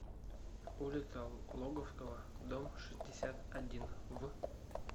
улица логовского дом шестьдесят один в